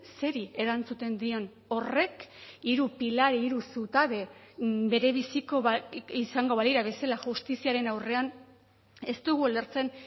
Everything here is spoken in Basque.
zeri erantzuten dion horrek hiru pilar hiru zutabe berebiziko izango balira bezala justiziaren aurrean ez dugu ulertzen